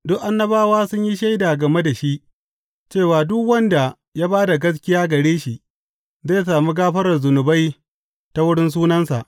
Duk annabawa sun yi shaida game da shi cewa duk wanda ya ba da gaskiya gare shi zai sami gafarar zunubai ta wurin sunansa.